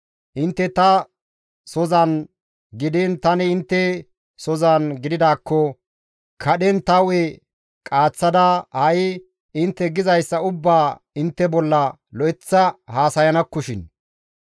Intte ta sozan gidiin tani intte sohon gididaakko kadhen tani hu7e qaaththada ha7i intte gizayssa ubbaa intte bolla lo7eththa haasayanakkoshin.